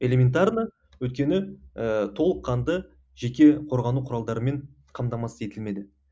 элементарно өйткені ііі толыққанды жеке қорғану құралдарымен қамтамасыз етілмеді